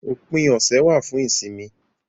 Òpin ọ̀sẹ̀ wà fún ìsinmi